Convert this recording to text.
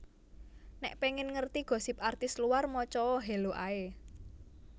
Nek pengen ngerti gosip artis luar moco o Hello ae